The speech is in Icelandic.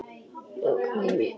Ég held að